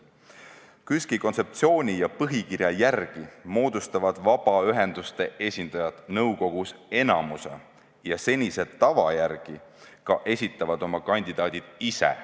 KÜSK-i kontseptsiooni ja põhikirja järgi moodustavad vabaühenduste esindajad nõukogus enamuse ja senise tava järgi ka esitavad oma kandidaadid ise.